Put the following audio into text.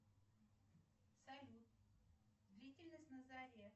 салют длительность на заре